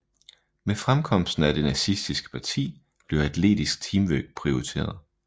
Med fremkomsten af det nazistiske parti blev atletisk teamwork prioriteret